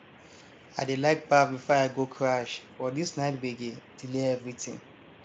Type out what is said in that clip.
i dey like baff before i go crash but this night gbege delay everything